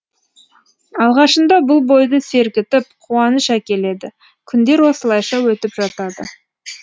алғашында бұл бойды сергітіп қуаныш әкеледі күндер осылайша өтіп жатады